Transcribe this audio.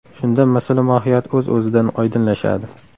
Shunda masala mohiyati o‘z o‘zidan oydinlashadi.